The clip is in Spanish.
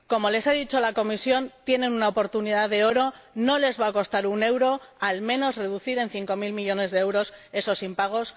Como les ha dicho la Comisión, tienen una oportunidad de oro, no les va a costar un euro reducir al menos en cinco mil millones de euros esos impagos.